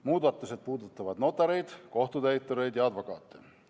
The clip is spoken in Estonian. Muudatused puudutavad notareid, kohtutäitureid ja advokaate.